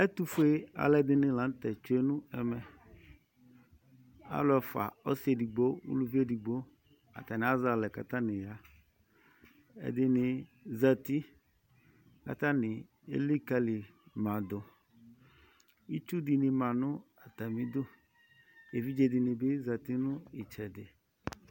Ɛtʋfue alʋɛdɩnɩ la nʋ tɛ tsue nʋ ɛmɛ Alʋ ɛfʋa ɔsɩ edigbo uluvi edigbo Atanɩ azɛ alɛ kʋ atanɩ ya Ɛdɩnɩ zati kʋ atanɩ elikǝli ma dʋ Itsu dɩnɩ ma nʋ atamɩdu Evidze dɩnɩ bɩ zati nʋ ɩtsɛdɩ